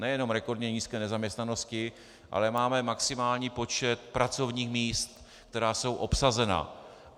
Nejenom rekordně nízké nezaměstnanosti, ale máme maximální počet pracovních míst, která jsou obsazena.